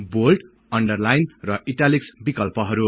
bold underline र italics विकल्पहरु